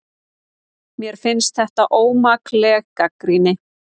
Mér finnst þetta ómakleg gagnrýni